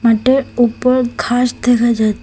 মাঠের উপর ঘাস দেখা যায়।